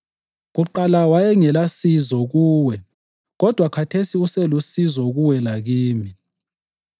Kuqala wayengelasizo kuwe kodwa khathesi uselusizo kuwe lakimi.